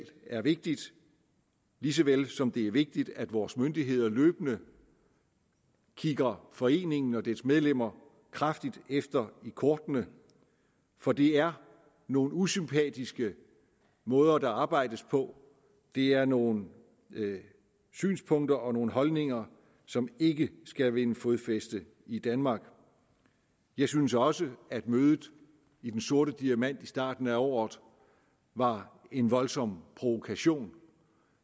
er vigtigt lige så vel som det er vigtigt at vores myndigheder løbende kigger foreningen og dens medlemmer kraftigt efter i kortene for det er nogle usympatiske måder der arbejdes på det er nogle synspunkter og nogle holdninger som ikke skal vinde fodfæste i danmark jeg synes også at mødet i den sorte diamant i starten af året var en voldsom provokation